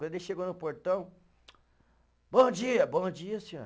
Quando ele chegou no portão, bom dia, bom dia, senhor.